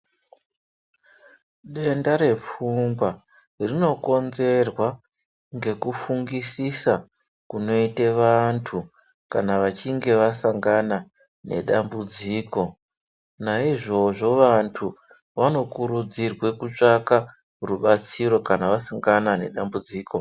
Denda repfungwa rinokonzerwa ngekufungisisa kunoite vantu kana vachinge vasangana nedambudziko naizvozvo vantu vanokurudzirwe kutsvaka rubatsiro kana vasangana nedambudziko.